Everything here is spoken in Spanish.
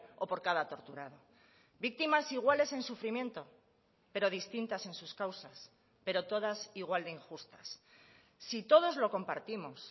o por cada torturado víctimas iguales en sufrimiento pero distintas en sus causas pero todas igual de injustas si todos lo compartimos